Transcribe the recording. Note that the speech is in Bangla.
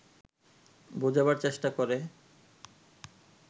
বোঝাবার চেষ্টা করে